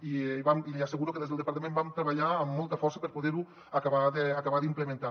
i li asseguro que des del departament vam treballar amb molta força per poder ho acabar d’implementar